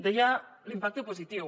deia l’impacte positiu